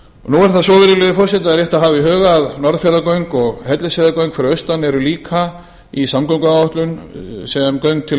nú er það svo virðulegi forseti og rétt að hafa í huga að norðfjarðargöng og hellisheiðargöng fyrir austan eru líka í samgönguáætlun sem göng til